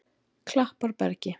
Klapparbergi